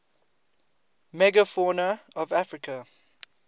megafauna of africa